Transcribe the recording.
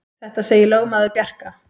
Þetta segir lögmaður Bjarka.